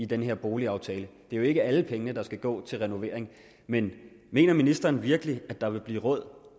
den her boligaftale det er jo ikke alle pengene der skal gå til renovering men mener ministeren virkelig at der vil blive råd